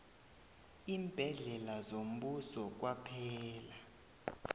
iimbhedlela zombuso kwaphela